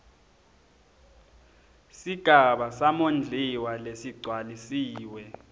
sigaba samondliwa lesigcwalisiwe